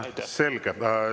Selge.